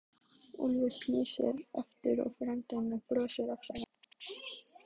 Ég horfi á allar íþróttir Hver er uppáhalds platan þín?